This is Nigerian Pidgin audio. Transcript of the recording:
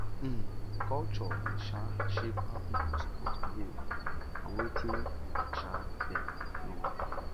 um culture dey um shape how pipo suppose behave and wetin um dey normal